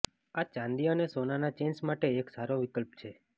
આ ચાંદી અને સોનાના ચેઇન્સ માટે એક સારો વિકલ્પ છે